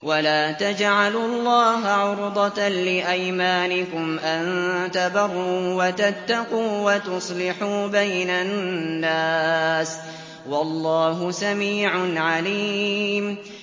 وَلَا تَجْعَلُوا اللَّهَ عُرْضَةً لِّأَيْمَانِكُمْ أَن تَبَرُّوا وَتَتَّقُوا وَتُصْلِحُوا بَيْنَ النَّاسِ ۗ وَاللَّهُ سَمِيعٌ عَلِيمٌ